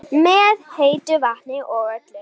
Með heitu vatni og öllu?